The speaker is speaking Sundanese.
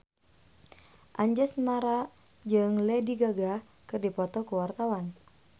Anjasmara jeung Lady Gaga keur dipoto ku wartawan